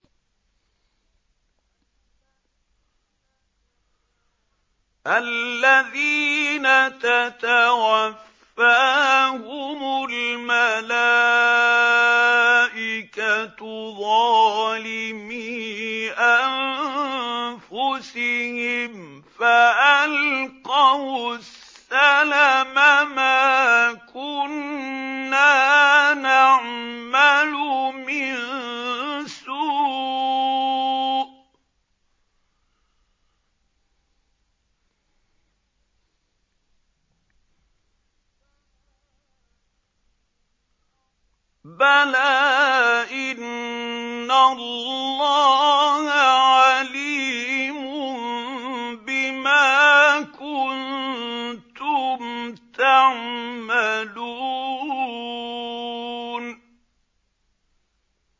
الَّذِينَ تَتَوَفَّاهُمُ الْمَلَائِكَةُ ظَالِمِي أَنفُسِهِمْ ۖ فَأَلْقَوُا السَّلَمَ مَا كُنَّا نَعْمَلُ مِن سُوءٍ ۚ بَلَىٰ إِنَّ اللَّهَ عَلِيمٌ بِمَا كُنتُمْ تَعْمَلُونَ